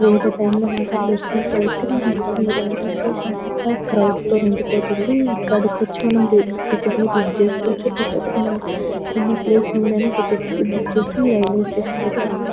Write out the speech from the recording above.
వేరే టైం లో మాత్రం చూసినట్లయితే మనకు రైల్వే స్టేషన్ అంత క్రౌడ్ తో నిండిపోతుంది ఇక్కడకి వచ్చి మనం టికెట్ బుక్ చేసుకోవచ్చులేకపోతే మనం ఉన్నప్లేస్ నుండి ఐనా టికెట్ ని బుక్ చేసి రైల్వే స్టేషన్ కి రావొచ్చు.